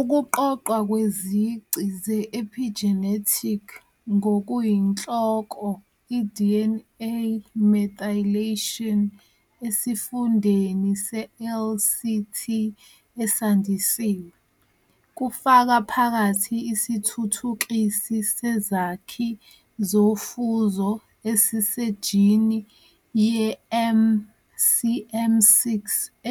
Ukuqoqwa kwezici ze-epigenetic, ngokuyinhloko i-DNA methylation, esifundeni se-LCT esandisiwe, kufaka phakathi isithuthukisi sezakhi zofuzo esisejini ye-MCM6